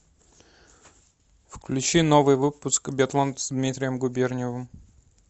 включи новый выпуск биатлон с дмитрием губерниевым